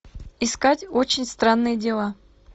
искать очень странные дела